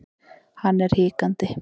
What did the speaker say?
Hann er hikandi.